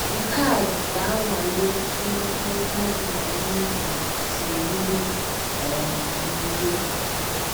Nke a ga - anwale otú mmekọrịta gị na onye ị lụrụ siruru um n’ike.